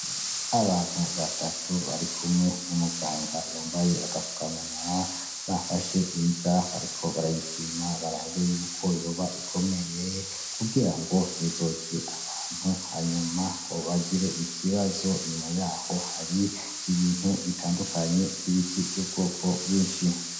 Abantu batatu barikumwe n'umuganga yambaye agapfukamunwa, bafashe imbwa bariko barayipima barabe yuko yoba ikomeye kugira ngo ntizorye abantu hanyuma ngo bagire ikibazo. Inyuma y'aho hari ibintu bitandukanye vy'ibiti vy'ubwoko bwinshi.